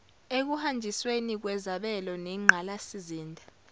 ekuhanjisweni kwezabelo zengqalasizinda